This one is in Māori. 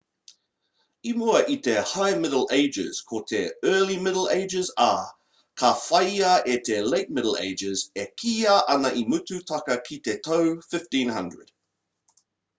i mua i te high middle ages ko te early middle ages ā ka whāia e te late middle ages e kīia ana i mutu tata ki te tau 1500